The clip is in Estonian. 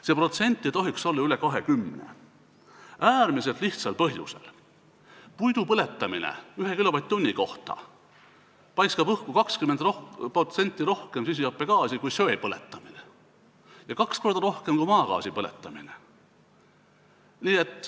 See protsent ei tohiks olla üle 20, seda äärmiselt lihtsal põhjusel: puidu põletamine paiskab 1 kilovatt-tunni kohta õhku 20% rohkem süsihappegaasi kui söe põletamine ja kaks korda rohkem kui maagaasi põletamine.